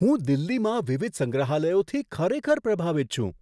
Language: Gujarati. હું દિલ્હીમાં વિવિધ સંગ્રહાલયોથી ખરેખર પ્રભાવિત છું.